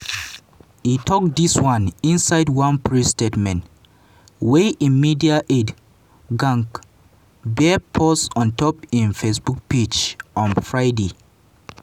e tok dis one inside one press statement wey im media aide gyang bere post ontop im facebook page on friday.